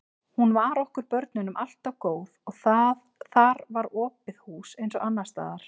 Hún var okkur börnunum alltaf góð og þar var opið hús eins og annars staðar.